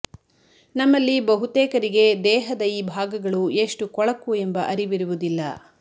ನಮ್ಮಲ್ಲಿ ಬಹುತೇಕರಿಗೆ ದೇಹದ ಈ ಭಾಗಗಳು ಎಷ್ಟು ಕೊಳಕು ಎಂಬ ಅರಿವಿರುವುದಿಲ್ಲ